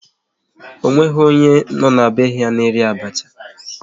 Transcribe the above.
Ọ nweghị onye nọ n'be ha na-eri abacha